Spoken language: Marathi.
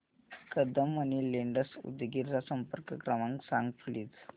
कदम मनी लेंडर्स उदगीर चा संपर्क क्रमांक सांग प्लीज